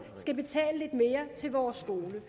skal betale lidt mere til vores skole